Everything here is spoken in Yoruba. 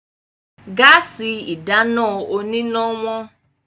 Gáàsì ìdáná oníná wọ́n.